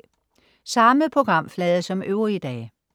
Samme programflade som øvrige dage